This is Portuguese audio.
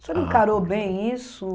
O senhor encarou bem isso?